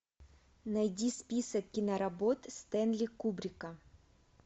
найди список киноработ стэнли кубрика